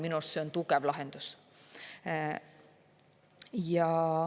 Minu arust see on tugev lahendus.